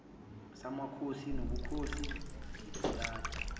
samakhosi nobukhosi ngibalule